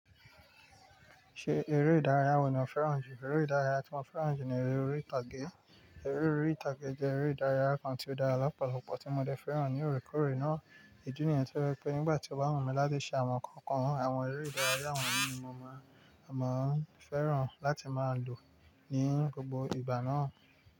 Ṣe eré ìdárayá wo ni o fẹ́ràn jù? Eré ìdárayá tí mo fẹ́ràn jù ni eré orí ìtàgé. Eré orí ìtàgé jẹ́ eré ìdárayá kan tí ó dára lọ́pọ̀lọpọ̀ tí mo dẹ fẹ́ràn ní òre kóòrè náà. Ìdí nìyẹn tí ó je wípé nígbà tí o bá wù mí láti ṣe àwọn nǹkan kan, àwọn eré ìdárayá wọ̀nyí ni mo máa, máa fẹ́ràn láti máa lò ní gbogbo ìgbà náà.